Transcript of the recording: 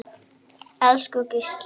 Elsku Gísli.